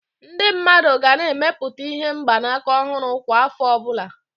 Ndị mmadụ ga na-emepụta ihe mgbanaka ọhụrụ kwa afọ obula